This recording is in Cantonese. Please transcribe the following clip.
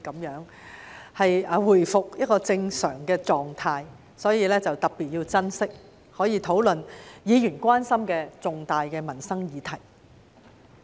現在回復正常狀態，故此要特別珍惜這個可以討論議員所關心的重大民生議題的機會。